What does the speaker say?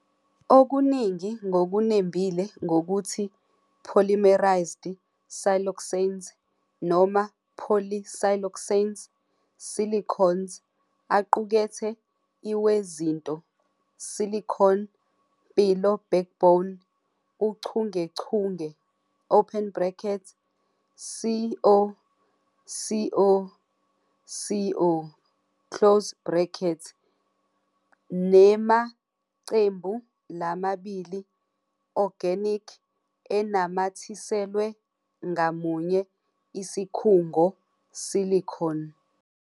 Okuningi ngokunembile ngokuthi polymerized siloxanes noma polysiloxanes, silicones aqukethe i wezinto Silicon--mpilo backbone uchungechunge, Si-O-Si-O-Si-O, nemacembu lamabili organic enamathiselwe ngamunye isikhungo silicon.